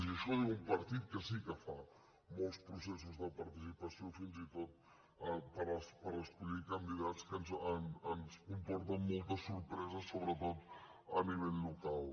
i això ho diu un partit que sí que fa molts processos de participació fins i tot per escollir candidats que ens comporta moltes sorpreses sobretot a nivell local